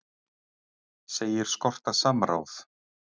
Segir skorta samráð